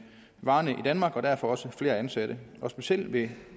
varer i danmark og derfor også flere ansatte specielt i